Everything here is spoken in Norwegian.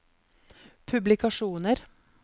publikasjoner